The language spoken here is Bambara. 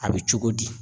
A bɛ cogo di